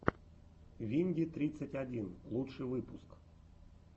винди тридцать один лучший выпуск